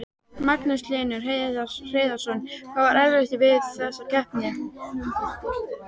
Magnús Hlynur Hreiðarsson: Hvað var erfiðast í, við þessa keppni?